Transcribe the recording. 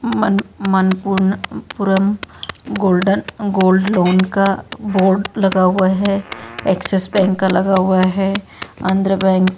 मन-मन पूर्ण पुरम golden gold loan का बोर्ड लगा हुआ है एक्सिस बैंक का लगा हुआ है आंध्र बैंक --